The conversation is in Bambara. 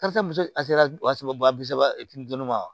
Karisa muso a sera wa saba bi saba ma